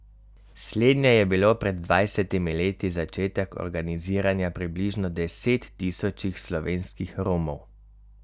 Slednje je bilo pred dvajsetimi leti začetek organiziranja približno desettisočih slovenskih Romov.